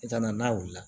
I kana n'a wulila